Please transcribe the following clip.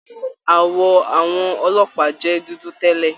Àwọ àwọn ọlọ́pàá jẹ dúdú tẹlẹ.